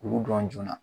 K'olu dɔn joona